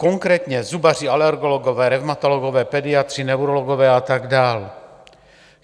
Konkrétně zubaři, alergologové, revmatologové, pediatři, neurologové a tak dál.